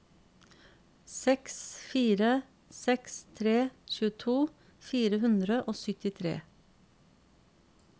seks fire seks tre tjueto fire hundre og syttitre